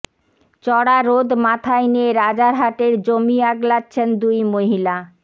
চড়া রোদ মাথায় নিয়ে রাজারহাটের জমি আগলাচ্ছেন দুই মহিলা